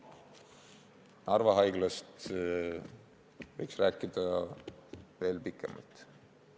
Narva Haiglast võiks rääkida veel pikemalt.